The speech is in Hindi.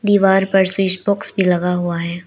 दीवार पर स्विच बॉक्स भी लगा हुआ है।